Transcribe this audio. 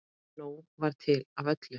Nóg var til af öllu.